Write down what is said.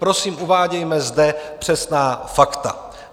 Prosím, uvádějme zde přesná fakta.